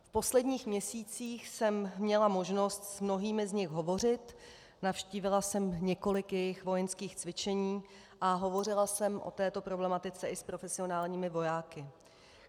V posledních měsících jsem měla možnost s mnohými z nich hovořit, navštívila jsem několik jejich vojenských cvičení a hovořila jsem o této problematice i s profesionálními vojáky.